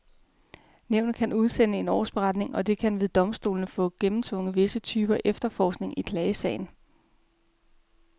Nævnet kan udsende en årsberetning, og det kan ved domstolene få gennemtvunget visse typer efterforskning i klagesagen.